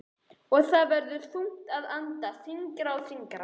Og það verður þungt að anda, þyngra og þyngra.